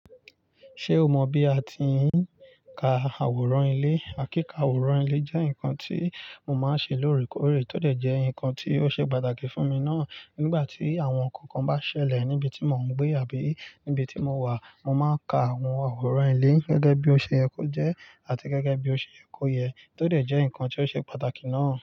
Ṣé o mọ bí a ti ń ka àwòrán ilé? Kíka àwòrán ilé jẹ́ nkan tí mo máa ń ṣe lóòrèkóòrè, tó dẹ̀ jẹ́ ǹkan tí ó ṣe pàtàkì fún mi naá. Nígbà tí àwọn ǹkan kan bá ṣẹlẹ̀ níbi tí mò ń gbé àbí níbi tí mo wà, mo máa ń ka àwọn àwòrán ilé gẹ́gẹ́ bí ó ṣe ye kojẹ àti gẹ́gẹ́ bí ó ṣe ye koye, tó dẹ̀ jẹ́ nkan tí ó ṣe pàtàkì ná.